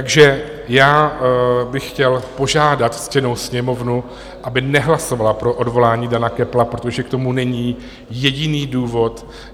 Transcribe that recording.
Takže já bych chtěl požádat ctěnou Sněmovnu, aby nehlasovala pro odvolání Dana Köppla, protože k tomu není jediný důvod.